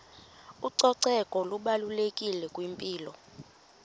ucoceko lubalulekile kwimpilo